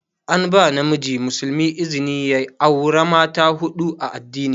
An ba namiji muslimi izni ya aura mata huɗu a addini.